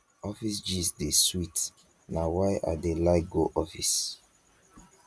office gist dey sweet na why i dey like go office